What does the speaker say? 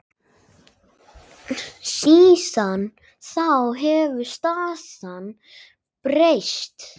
Síðan þá hefur staðan breyst.